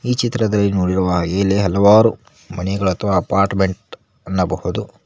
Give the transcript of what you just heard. ಈ ಚಿತ್ರದಲ್ಲಿ ನೋಡಿರುವ ಹಾಗೆ ಇಲ್ಲಿ ಹಲವಾರು ಮನೆಗಳು ಅಥವಾ ಅಪಾರ್ಟ್ಮೆಂಟ್ ಅನ್ನಬಹುದು.